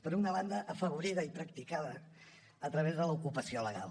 per una banda afavorida i practicada a través de l’ocupació legal